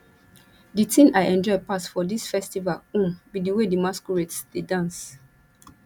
the thing i enjoy pass for dis festival um be the way the masquerades dey dance